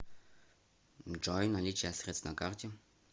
джой наличие средств на карте